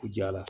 Ja la